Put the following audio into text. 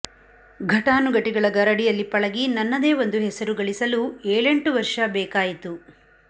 ಘಟಾನುಘಟಿಗಳ ಗರಡಿಯಲ್ಲಿ ಪಳಗಿ ನನ್ನದೇ ಒಂದು ಹೆಸರು ಗಳಿಸಲು ಏಳೆಂಟು ವರ್ಷ ಬೇಕಾಯಿತು